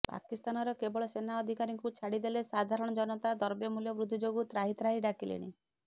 ପାକିସ୍ତାନର କେବଳ ସେନା ଅଧିକାରୀଙ୍କୁ ଛାଡ଼ି ଦେଲେ ସାଧାରଣ ଜନତା ଦ୍ରବ୍ୟ ମୂଲ୍ୟ ବୃଦ୍ଧି ଯୋଗୁଁ ତ୍ରାହିତ୍ରାହି ଡାକିଲେଣି